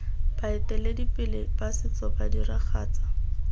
baeteledipele ba setso ba diragatsa